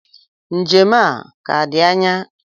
Njem a a-ka di anya?